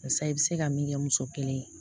Barisa i bi se ka min kɛ muso kelen ye